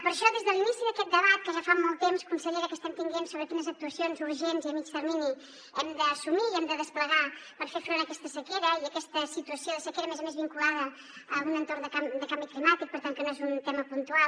per això des de l’inici d’aquest debat que ja fa molt temps consellera que estem tenint sobre quines actuacions urgents i a mitjà termini hem d’assumir i hem de desplegar per fer front a aquesta sequera i aquesta situació de sequera a més a més vinculada a un entorn de canvi climàtic per tant que no és un tema puntual